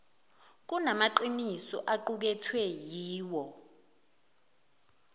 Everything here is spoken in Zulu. kunamaqiniso aqukethwe yiwo